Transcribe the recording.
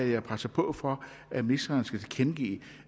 jeg presser på for at ministeren skal tilkendegive